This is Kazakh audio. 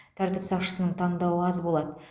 тәртіп сақшысының таңдауы аз болады